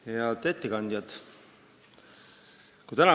Head ettekandjad!